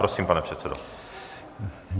Prosím, pane předsedo.